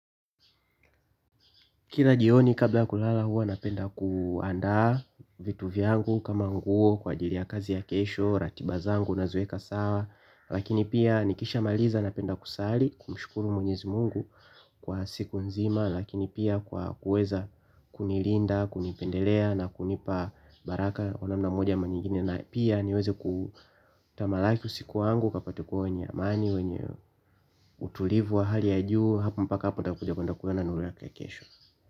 Kila jioni kabla ya kulala huwa napenda kuandaa vitu vyangu kama nguo kwa ajili ya kazi ya kesho, ratiba zangu naziweka sawa lakini pia nikishamaliza napenda kusali kumshukuru mwenyezi Mungu kwa siku nzima lakini pia kwa kuweza kunilinda, kunipendelea na kunipa baraka kwa namna moja ama nyingine na pia niweze kutamalaki usiku wangu ukapate kuwa wenye amani wenye utulivu wa hali ya juu. Hapo mpaka hapo ntakuja kuenda kuona nuru yake ya kesho.